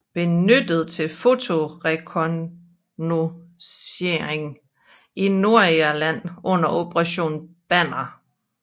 Benyttet til fotorekognoscering i Nordirland under Operation Banner